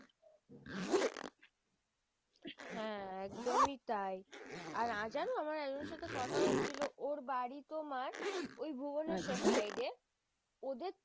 হ্যাঁ একদমই তাই আর আজ জানো আমার একজনের সাথে কথা হচ্ছিলো ওর বাড়ি তোমার ওই ভুবনেশ্বর side এ। ওদের তো